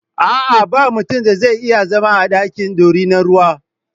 A'a, ba mutun da zai iya zama a daki da dorinar ruwa.